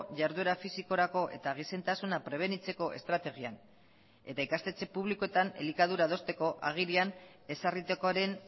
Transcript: jarduera fisikorako eta gizentasuna prebenitzeko estrategian eta ikastetxe publikoetan elikadura adosteko agirian ezarritakoaren